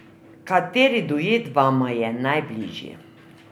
Kateri duet vama je najbližji?